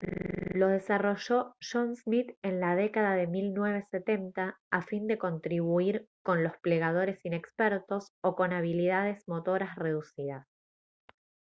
lo desarrolló john smith en la década de 1970 a fin de contribuir con los plegadores inexpertos o con habilidades motoras reducidas